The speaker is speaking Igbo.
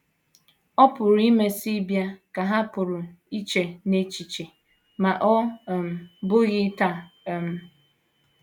‘ Ọ pụrụ imesị bịa, ’ ka ha pụrụ iche n’echiche, ‘ ma ọ um bụghị taa. um ’